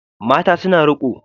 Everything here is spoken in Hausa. Mata suna riƙo